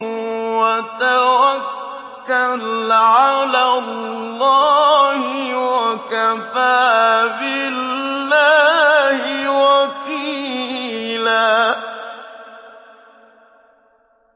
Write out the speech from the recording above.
وَتَوَكَّلْ عَلَى اللَّهِ ۚ وَكَفَىٰ بِاللَّهِ وَكِيلًا